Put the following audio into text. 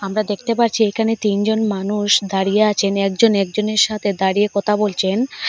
আমরা দেখতে পারছি একানে তিনজন মানুষ দাঁড়িয়ে আচেন একজন একজনের সাথে দাঁড়িয়ে কতা বলচেন।